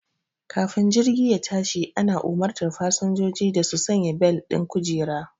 Kafin jirgi ya tashi ana umartar fasinjoji da su sanya bel ɗin kujera